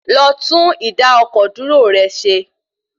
Lọ tún ìdá-ọkọ̀-dúró rẹ ṣe.